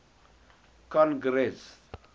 congress